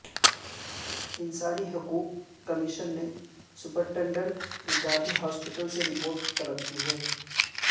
انسانی حقوق کمیشن نے سپرنٹنڈنٹ گاندھی ہاسپٹل سے رپورٹ طلب کی